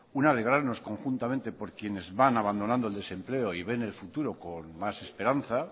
un alegrarnos conjuntamente por quienes van abandonando el desempleo y ven el futuro con más esperanza